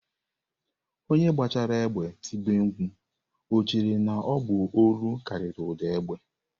Onye gbachara égbè tibe mkpu, ọ chere na ọ bụ olu kariri ụda egbe?